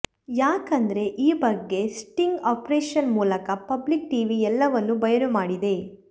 ಯಾಕಂದ್ರೆ ಈ ಬಗ್ಗೆ ಸ್ಟಿಂಗ್ ಆಪರೇಷನ್ ಮೂಲಕ ಪಬ್ಲಿಕ್ ಟಿವಿ ಎಲ್ಲವನ್ನೂ ಬಯಲು ಮಾಡಿದೆ